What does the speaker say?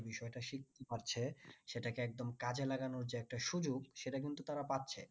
যে বিষয় টা শিখতে পারছে সেটাকে একদম কাজে লাগানোর যে একটা সুযোগ সেটা কিন্তু তারা পাচ্ছে